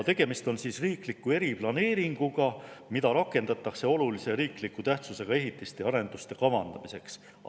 Tegemist on riikliku eriplaneeringuga, mida rakendatakse olulise riikliku tähtsusega ehitiste ja arenduste kavandamiseks.